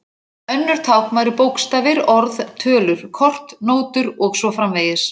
Önnur tákn væru bókstafir, orð, tölur, kort, nótur og svo framvegis.